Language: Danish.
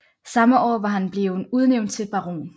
Samme år var han bleven udnævnt til baron